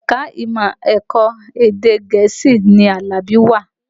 Ẹ̀ka ìmọ̀ ẹ̀kọ́ èdè Gẹ̀ẹ́sì ni Alabi wà